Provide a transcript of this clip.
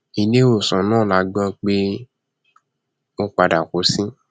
iléèwòsàn náà la gbọ pé ó padà kú sí